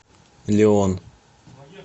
леон